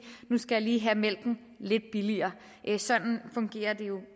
nu skal jeg lige have mælken lidt billigere sådan fungerer det jo